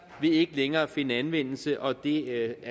ikke længere finde anvendelse og det